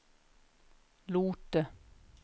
Lote